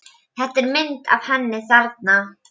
Þú horfir í fyrsta skipti á brjóstin á mér.